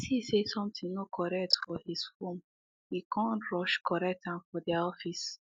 he see say something no correct for his form e come rush correct am for their office